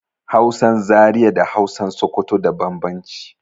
Hausan Zaria da Hausan Sokoto da bambamci